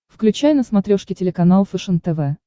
включай на смотрешке телеканал фэшен тв